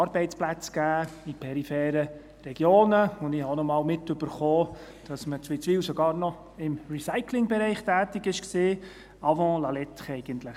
Dies hat in peripheren Regionen Arbeitsplätze gegeben, und ich habe auch einmal mitbekommen, dass man in Witzwil sogar noch im Recyclingbereich tätig war, eigentlich «avant la lettre».